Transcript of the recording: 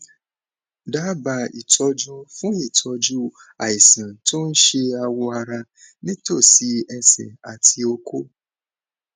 daba itọju fun itoju àìsàn tó ń ṣe awọ ara nítòsí ẹsẹ àti oko